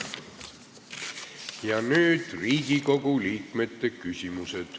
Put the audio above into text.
Ja nüüd Riigikogu liikmete küsimused.